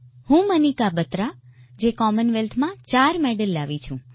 હું મનિકા બત્રા જે કોમનવેલ્થમાં ચાર મેડલ લાવી છું